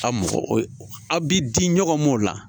A mɔgɔ aw bi di ɲɔgɔn mɔ o la